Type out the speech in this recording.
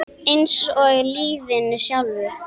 Eins og í lífinu sjálfu.